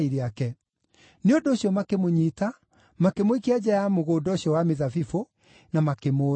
Nĩ ũndũ ũcio makĩmũnyiita, makĩmũikia nja ya mũgũnda ũcio wa mĩthabibũ, na makĩmũũraga.